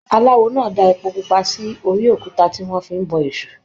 Aláwò náà dáa èpo pupa sórí òkúta tí wọn fí n bọ èṣù.